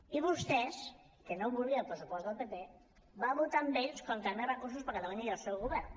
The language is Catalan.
i vostès que no volien el pressupost del pp van votar amb ells contra més recursos per a catalunya i el seu govern